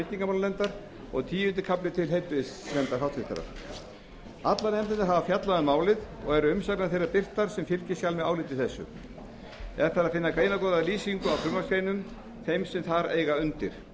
tryggingamálanefndar og tíundi kafli til háttvirtrar heilbrigðisnefndar allar nefndirnar hafa fjallað um málið og eru umsagnir þeirra birtar sem fylgiskjal með áliti þessu er þar að finna greinargóðar lýsingar á frumvarpsgreinum þeim sem þar eiga undir